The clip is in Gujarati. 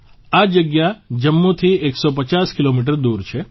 આ જગ્યા જમ્મુથી 150 કિલોમીટર દૂર છે